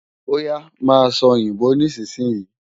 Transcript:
Óyá máa sòyìnbó nísinsìnyí!